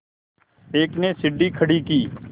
एक ने सीढ़ी खड़ी की